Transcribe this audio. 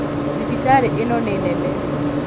thibitarĩ ĩno nĩ nene